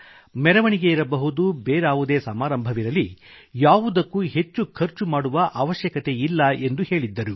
ಮೆರವಣಿಗೆ ಇರಬಹುದು ಬೇರಾವುದೇ ಸಮಾರಂಭವಿರಲಿ ಯಾವುದಕ್ಕೂ ಹೆಚ್ಚು ಖರ್ಚು ಮಾಡುವ ಅವಶ್ಯಕತೆಯಿಲ್ಲ ಎಂದು ಹೇಳಿದ್ದರು